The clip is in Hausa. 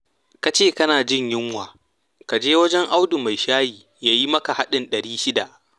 Ka ce kana jin yunwa? Ka je wajen Audu mai shayi ya yi maka haɗin ɗari shida